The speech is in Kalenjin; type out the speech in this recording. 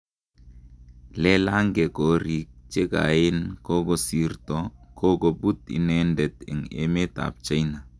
Lelange korik chekaen kokosirto kokoput inendet en emet ap china